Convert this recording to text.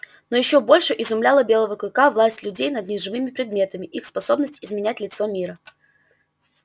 но ещё больше изумляла белого клыка власть людей над неживыми предметами их способность изменять лицо мира